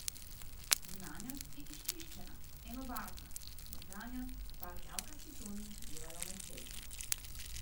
Zunanjost je izčiščena, enobarvna, notranjost pa rjavkasti toni delajo mehkejšo.